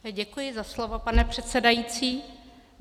Děkuji za slovo, pane předsedající.